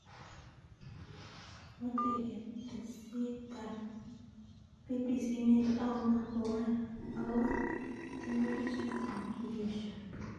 Kimoche ketesiet tab BBC Mary Auma kowol akgobo tiemutik choton ak kiesho